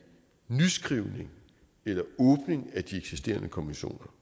nyskrivning eller åbning af de eksisterende konventioner